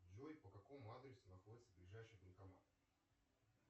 джой по какому адресу находится ближайший банкомат